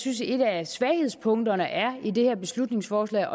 synes et af svaghedspunkterne er i det her beslutningsforslag